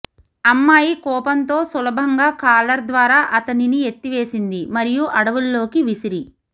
అమ్మాయి కోపంతో సులభంగా కాలర్ ద్వారా అతనిని ఎత్తివేసింది మరియు అడవుల్లోకి విసిరి